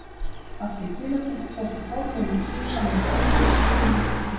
Af því tilefni tóku forlögin tvö saman höndum og buðu mér til